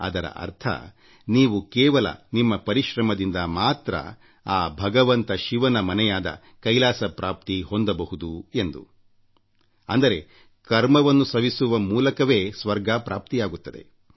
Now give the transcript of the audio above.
ಅದರ ಅರ್ಥ ನೀವು ಕೇವಲ ನಿಮ್ಮ ಪರಿಶ್ರಮದಿಂದ ಮಾತ್ರ ಆ ಭಗವಂತ ಶಿವನ ಮನೆಯಾದ ಕೈಲಾಸ ಹೊಂದಬಹುದು ಎಂದು ಅಂದರೆ ಕರ್ಮವನ್ನು ಸವಿಸುವ ಮೂಲಕವೇ ಸ್ವರ್ಗ ಪ್ರಾಪ್ತಿಯಾಗುತ್ತದೆ